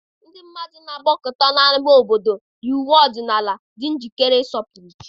ndị mmadụ na-agbakọta n'ámá obodo, yi uwe ọdịnala, dị njikere ịsọpụrụ chi.